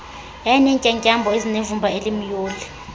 yayinentyatyambo ezazinevumba elimyoli